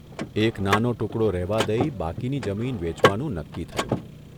એક નાનો ટુકડો રહેવા દઇ બાકીની જમીન વેચવાનું નક્કી થયું.